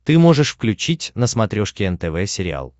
ты можешь включить на смотрешке нтв сериал